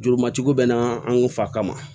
Juru matigi bɛ na an fa kama